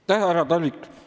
Tänan, härra Talvik!